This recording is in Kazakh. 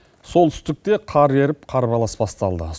солтүстікте қар еріп қарбалас басталды